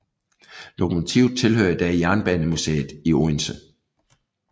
Lokomotivet tilhører i dag Jernbanemuseet i Odense